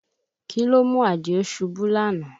Kí ló mú Àdìó ṣubú lánàá?